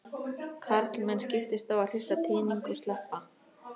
Karlmenn skiptust á að hrista tening og sleppa.